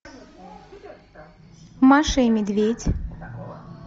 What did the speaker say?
маша и медведь